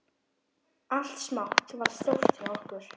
Allt smátt varð stórt hjá okkur.